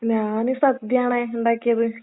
ഞാന് സദ്യയാണെ ഇണ്ടാക്കിയത്.